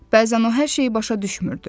Bəzən o hər şeyi başa düşmürdü.